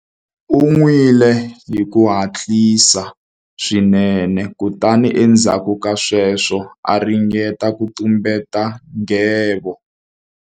U nwile hi ku hatlisa swinene kutani endzhaku ka sweswo a ringeta ku tumbeta nghevo.